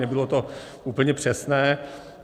Nebylo to úplně přesné.